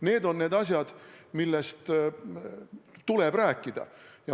Need on need asjad, millest tuleb rääkida.